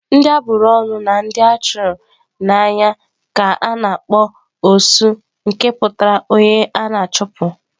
Ndị a bụrụ ọnụ na ndị a chụrụ n'anya ka a na-akpọ "osu nke pụtara onye a na-achụpụ.